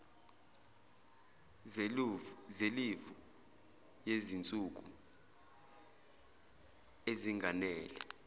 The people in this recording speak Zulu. zelivu yezinsuku ezinganele